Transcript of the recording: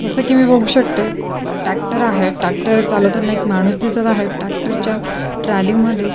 जस की मी बघू शकते टॅक्टर आहे टॅक्टर चालवताना एक माणूस दिसत आहे टॅक्टर चालवताना टॅक्टरच्या ट्रालीमध्ये--